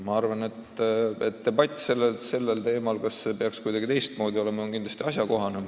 Samas debatt teemal, kas see peaks ehk kuidagi teistmoodi olema, on kindlasti asjakohane.